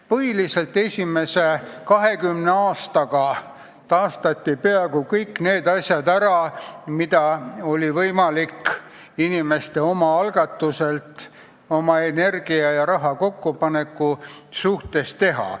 Põhiliselt esimese 20 aastaga taastati peaaegu kõik, mida oli võimalik inimeste oma algatusel, oma energiat ja raha kokku pannes teha.